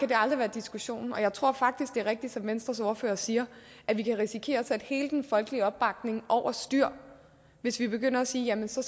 det aldrig være diskussionen og jeg tror faktisk det er rigtigt som venstres ordfører siger at vi kan risikere at sætte hele den folkelige opbakning over styr hvis vi begynder at sige at vi så